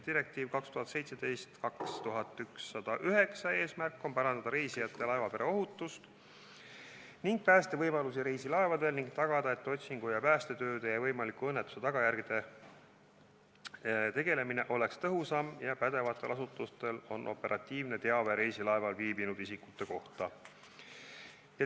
Direktiivi 2017/2109 eesmärk on parandada reisijate ja laevapere ohutust ning päästevõimalusi reisilaevadel, samuti tagada, et otsingu- ja päästetööde ja võimaliku õnnetuse tagajärgedega tegelemine oleks tõhusam ning pädevatel asutustel oleks operatiivne teave reisilaeval viibinud isikute kohta.